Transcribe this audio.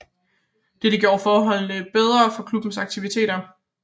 Dette gjorde forholdene meget bedre for klubbens aktiviteter